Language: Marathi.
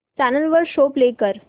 चॅनल वर शो प्ले कर